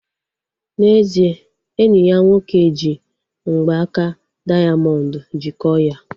N'ezie, enyi ya nwoke ji mgbaaka dayamondu jikọọ ya